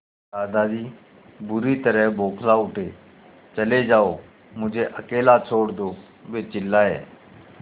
दादाजी बुरी तरह बौखला उठे चले जाओ मुझे अकेला छोड़ दो वे चिल्लाए